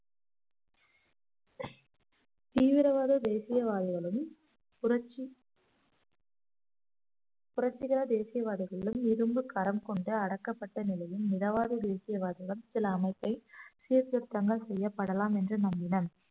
தீவிரவாத தேசியவாதிகளும் புரட்சி புரட்சிகர தேசியவாதிகளும் இரும்புக்கரம் கொண்டு அடக்கப்பட்ட நிலையும் மிதவாத தேசியவாதிகளும் சில அமைப்பை சீர்திருத்தங்கள் செய்யப்படலாம் என்று நம்மினர்